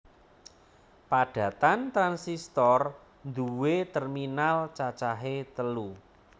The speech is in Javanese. Padatan transistor nduwé terminal cacahe telu